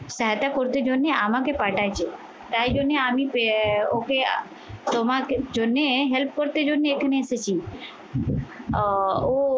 করতে জন্যে, আমাকে পাঠাচ্ছ তাই জন্যে আমি আহ ওকে তোমাকে জন্যে help করতে জন্যে এখানে এসেছি আহ ও